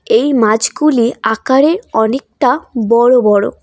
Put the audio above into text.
এই মাছগুলি আকারে অনেকটা বড় বড়।